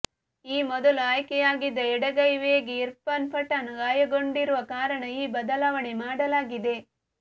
ಈ ಮೊದಲು ಆಯ್ಕೆ ಆಗಿದ್ದ ಎಡಗೈ ವೇಗಿ ಇರ್ಫಾನ್ ಪಠಾಣ್ ಗಾಯಗೊಂಡಿರುವ ಕಾರಣ ಈ ಬದಲಾವಣೆ ಮಾಡಲಾಗಿದೆ